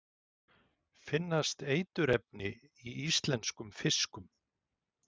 Finnast eiturefni í íslenskum fiskum?